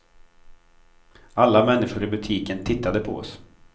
Alla människor i butiken tittade på oss.